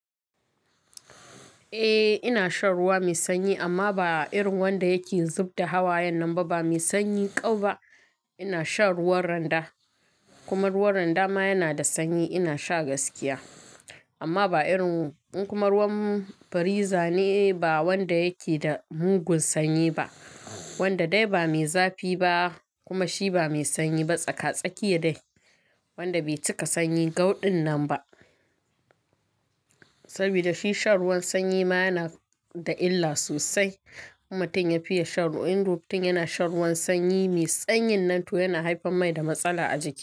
Eh ina shan ruwa mai sanyi amma ba irin wanda yake zub da hawa yanan ba, ba mai sanyi ƙau ba. Ina shan ruwan randa kuma ruwan randa ma yana da sanyi. Ina sha gaskiya amma ba irin kuma ruwan fariza ne ba wanda yake da mugun sanyi ba, wanda dai ba mai zafi ba kuma shi ba mai sanyi ba. Tsaka-tsaki yake dai wanda bai cika sanyi gauɗin nan ba saboda shi shan ruwan sanyi ma yana da illa sosai. Mutum ya fiya shan ruwa in rufin yana shan ruwan sanyi mai tsanyin nan to yana haifar mai da matsala a jiki.